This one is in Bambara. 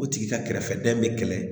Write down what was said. O tigi ka kɛrɛfɛdɛn bɛ kɛlɛ